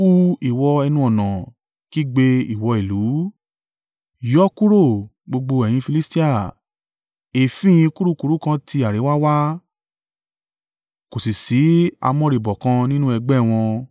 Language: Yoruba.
Hu, ìwọ ẹnu-ọ̀nà! Kígbe, ìwọ ìlú! Yọ́ kúrò, gbogbo ẹ̀yin Filistia! Èéfín kurukuru kan ti àríwá wá, kò sì ṣí amóríbọ́ kan nínú ẹgbẹ́ wọn.